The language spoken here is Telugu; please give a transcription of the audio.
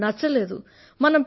నాకు అది నచ్చలేదు